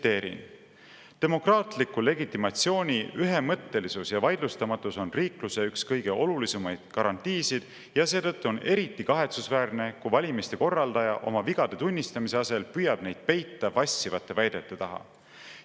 Tsiteerin: "Demokraatliku legitimatsiooni ühemõttelisus ja vaidlustamatus on riikluse üks kõige olulisemaid garantiisid ja seetõttu on eriti kahetsusväärne, kui valimiste korraldaja oma vigade tunnistamise asemel püüab neid peita vassivate väidete taha.